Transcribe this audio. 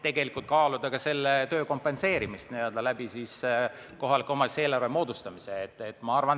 Tegelikult võiks kaaluda selle töö kompenseerimist kohaliku omavalitsuse eelarve kaudu.